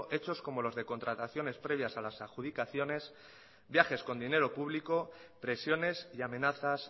hechos como los de contrataciones previas a las adjudicaciones viajes con dinero público presiones y amenazas